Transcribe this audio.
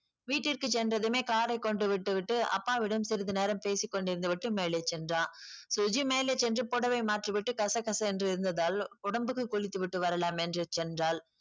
வீட்டிற்கு சென்றதுமே car ஐ கொண்டு விட்டு விட்டு அப்பாவிடம் சிறிது நேரம் பேசி கொண்டிருந்து விட்டு மேலே சென்றான். சுஜி மேலே சென்று புடவை மாற்றி விட்டு கச கசவென்று இருந்ததால் உடம்புக்கு குளித்து விட்டு வரலாம் என்று சென்றாள்.